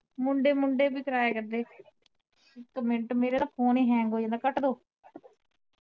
ਮੁੰਡੇ ਮੁੰਡੇ ਬੀ ਕਰਾਇਆ ਕਰਦੇ ਇਕ ਮਿੰਟ ਮੇਰਾ ਫੋਨ ਈ hang ਹੋਈ ਜਾਂਦਾ ਕਟਦੋ।